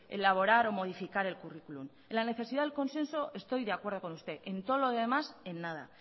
elaborar o modificar el curriculum en la necesidad del consenso estoy de acuerdo con usted en todo lo demás en nada